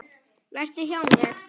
Vertu hjá mér.